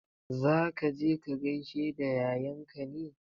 Za ka je ka gaishe da yayanka ne?